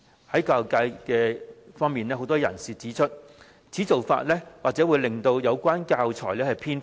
有教育界人士指出，此做法或令有關教材偏頗。